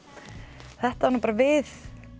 þetta var bara við